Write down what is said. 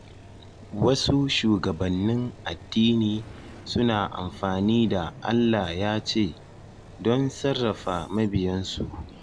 Wasu shugabannin addini suna amfani da “Allah ya ce” don sarrafa mabiyansu.